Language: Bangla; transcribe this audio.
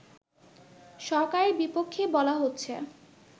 সরকারের বিপক্ষেই বলা হচ্ছে